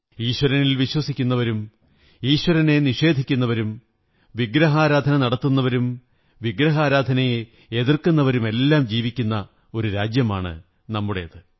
ഈശ്വരനിൽ വിശ്വസിക്കുന്നവരും ഈശ്വരനെ നിഷേധിക്കുന്നവരും വിഗ്രഹാരാധന നടത്തുന്നവരും വിഗ്രഹാരാധനയെ എതിര്ക്കുരന്നവരുമെല്ലാം ജീവിക്കുന്ന ഒരു രാജ്യമാണ് നമ്മുടേത്